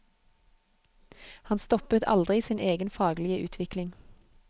Han stoppet aldri sin egen faglige utvikling.